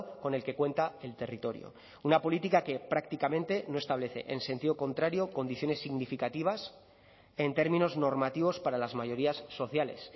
con el que cuenta el territorio una política que prácticamente no establece en sentido contrario condiciones significativas en términos normativos para las mayorías sociales